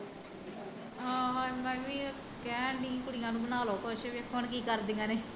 ਹਾਂ ਮੈਂ ਵੀ ਕਹਿਣ ਡਈ ਸੀ ਕੁੜੀਆ ਨੂੰ ਬਣਾ ਲਉ ਕੁਛ ਵੇਖੋ ਹੁਣ ਕੀ ਕਰਦੀਆ ਨੇ